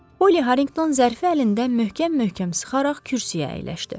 Polli Harriqton zərfi əlində möhkəm-möhkəm sıxaraq kürsüyə əyləşdi.